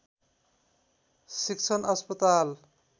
शिक्षण अस्पताल